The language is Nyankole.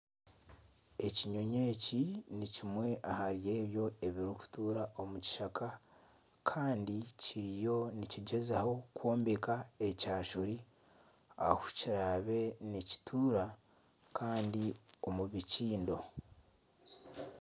Ekinyonyi eki nikimwe ahari ebyo ebiri kutuukura omu kishaka Kandi kiriyo nikigyezaho kwombeka ekyashuri ahikiraabe nikituura kandi omu bikiindo.